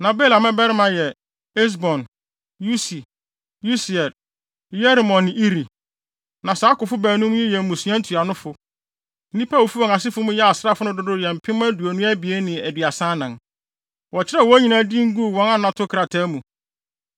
Na Bela mmabarima yɛ: Esbon, Usi, Usiel, Yerimot ne Iri. Na saa akofo baanum yi yɛ mmusua ntuanofo. Nnipa a wofi wɔn asefo mu yɛɛ asraafo no dodow yɛ mpem aduonu abien ne aduasa anan (22,034). Wɔkyerɛw wɔn nyinaa din guu wɔn anato krataa mu.